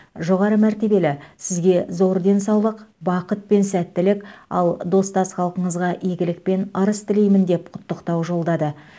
жоғары мәртебелі сізге зор денсаулық бақыт пен сәттілік ал достас халқыңызға игілік пен ырыс тілеймін деп құттықтау жолдады